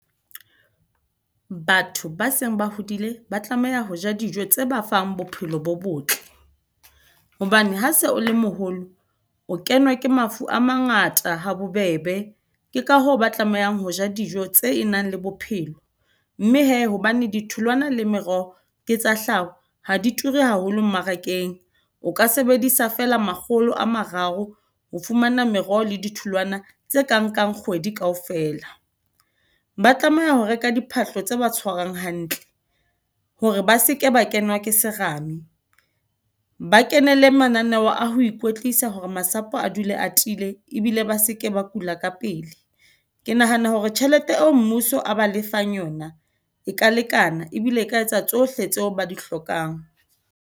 Batho ba seng ba hodile ba tlameha ho ja dijo tse ba fang bophelo bo botle. Hobane ha se o le moholo, o kenwa ke mafu a mangata ha bobebe. Ke ka hoo ba tlamehang ho ja dijo tse nang le bophelo, mme he hobane ditholwana le meroho ke tsa hlaho ha di ture haholo mmarakeng. O ka sebedisa fela makgolo a mararo ho fumana meroho le ditholwana tse kang nkang kgwedi ka ofela. Ba tlameha ho reka diphahlo tse ba tshwarang hantle hore ba seke ba kenwa ke serame. Ba kenele mananeo a ho ikwetlisa hore masapo a dulang e atile ebile ba seke ba kula ka pele. Ke nahana hore tjhelete eo mmuso a ba lefang yona, e ka lekana ebile e ka etsa tsohle tseo ba di hlokang.